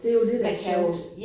Det jo det der er sjovt